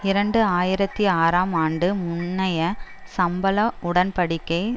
இரண்டு ஆயிரத்தி ஆறாம் ஆண்டு முன்னைய சம்பள உடன் படிக்கை